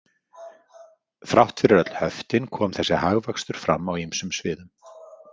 Þrátt fyrir öll höftin kom þessi hagvöxtur fram á ýmsum sviðum.